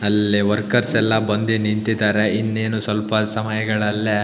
ಅಲ್ಲಿ ವರ್ಕರ್ಸ್ ಎಲ್ಲಾ ಬಂದಿ ನಿಂತಿದರೆ ಇನ್ನೇನು ಸ್ವಲ್ಪ ಸಮಯಗಳಲ್ಲೆ --